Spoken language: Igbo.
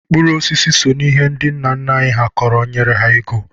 Mkpụrụ osisi so n'ihe ndị nna nna anyị kọrọ nyere ha ego.